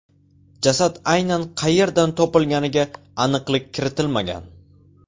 Jasad aynan qayerdan topilganiga aniqlik kiritilmagan.